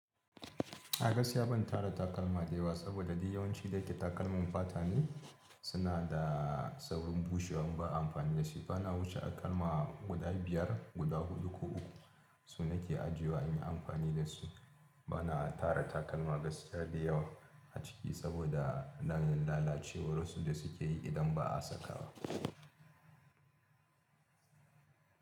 A gaskiya ban tara takalma da yawa saboda dai yawanci da yake takalmin fata ne suna da saurin bushewa in ba a amfani da shi. Bana wuce takalma guda biyar, guda huɗu ko uku su nake ajiyewa in yi amfani da su. Bana tara takalma gaskiya da yawa a ciki saboda na yin lalacewar wasu da suke yi idan ba a sakawa.